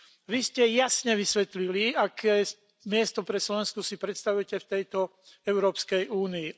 Vy ste jasne vysvetlili, aké miesto pre Slovensko si predstavujete v tejto Európskej únii.